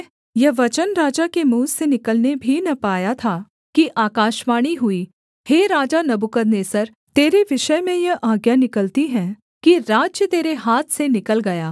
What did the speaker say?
यह वचन राजा के मुँह से निकलने भी न पाया था कि आकाशवाणी हुई हे राजा नबूकदनेस्सर तेरे विषय में यह आज्ञा निकलती है कि राज्य तेरे हाथ से निकल गया